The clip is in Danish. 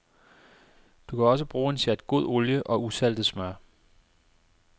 Du kan også bruge en sjat god olie og usaltet smør.